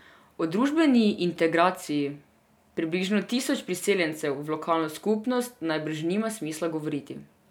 O družbeni integraciji približno tisoč priseljencev v lokalno skupnost najbrž nima smisla govoriti.